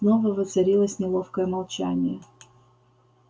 снова воцарилось неловкое молчание